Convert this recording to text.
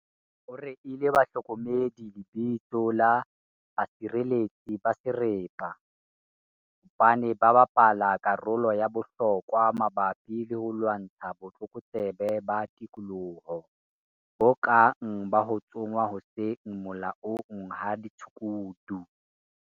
o reile bahlokomedi lebitso la 'basireletsi ba serapa' hobane ba bapala karolo ya bohlokwa mabapi le ho lwantsha botlokotsebe ba tikoloho, bo kang ba ho tsongwa ho seng molaong ha ditshukudu.